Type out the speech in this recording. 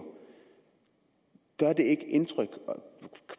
gør det ikke indtryk